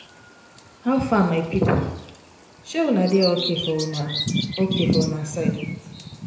how far my people? um una dey ok for una ok for una side?